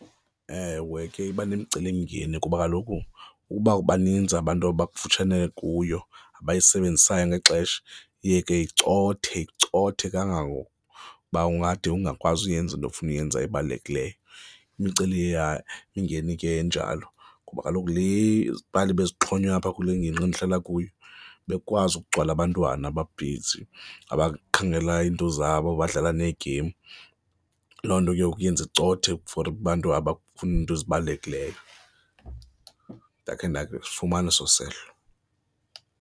Ewe, ke iba nemicelimngeni kuba kaloku ukuba baninzi abantu abakufutshane kuyo, abayisebenzisayo ngexesha iye ke icothe, icothe kangangokuba ungade ungakwazi uyenza into ofuna uyenza ebalulekileyo. imicelimngeni ke enjalo ngoba kaloku le yeepali bezixhonywa apha kule ingingqi endihlala kuyo bekukwazi ukugcwala abantwana ababhizi abakhangela iinto zabo, abadlala neegemu, loo nto ke iyenze icothe for abantu abafuna izinto ezibalulekileyo. Ndakhe ndafumana eso sehlo.